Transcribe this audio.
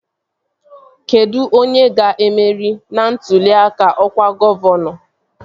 Kedụ onye ga-emeri ntụli aka ọkwa gọvanọ?